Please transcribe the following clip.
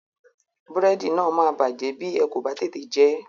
Búrẹ́dì náà máa bàjẹ́ bí ẹ kò bá tètè jẹ ẹ́.